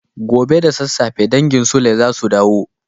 Gobe ​​da sassafe dangin sule zasu dawo